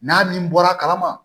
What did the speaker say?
N'a min bɔra kalama